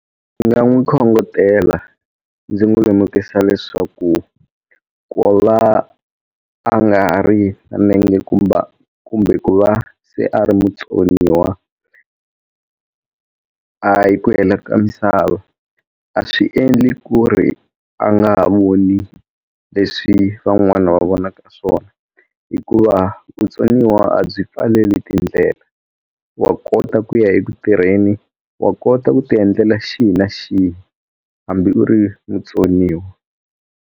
Ndzi nga n'wi khongotela ndzi n'wi lemukisa leswaku ku va va a nga ri nenge kumba kumbe ku va se a ri mutsoniwa a hi ku hela ka misava a swi endli ku ri a nga ha vuni leswi van'wana va vonaka swona hikuva vutsoniwa a byi pfaleli tindlela wa kota ku ya eku tirheni wa kota ku ti endlela xihi xihi hambi u ri mutsoniwa.